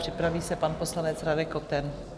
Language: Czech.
Připraví se pan poslanec Radek Koten.